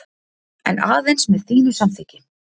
En aðeins með þínu samþykki.